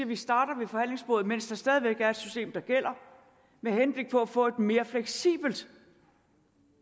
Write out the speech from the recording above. vi starter ved forhandlingsbordet mens der stadig væk er et system der gælder med henblik på at få et mere fleksibelt